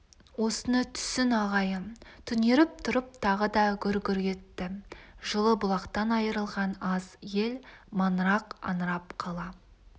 осыны түсін ағайын түнеріп тұрып тағы да гүр-гүр етті жылы-бұлақтан айырылған аз ел маңырақ аңырап қала